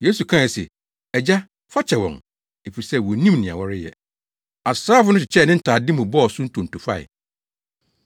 Yesu kae se, “Agya, fa kyɛ wɔn, efisɛ wonnim nea wɔreyɛ.” Asraafo no kyekyɛɛ ne ntade mu bɔɔ so ntonto fae.